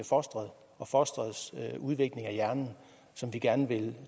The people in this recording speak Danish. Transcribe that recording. fostret og fostrets udvikling af hjernen som vi gerne vil